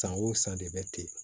San o san de bɛ ten